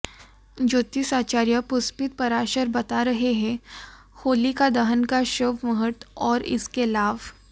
ज्योतिषाचार्य पुष्पित पाराशर बता रहे हैं होलिका दहन का शुभ मुहूर्त और इसके लाभ